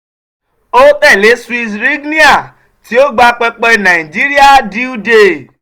o tẹle swiss rignier ti o gba pẹpẹ naijiria dealdey.